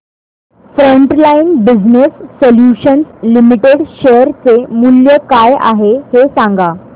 frontline business solutions limited share चे मूल्य काय आहे हे सांगा